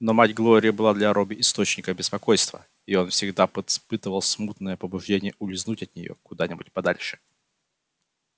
но мать глории была для робби источником беспокойства и он всегда испытывал смутное побуждение улизнуть от нее куда-нибудь подальше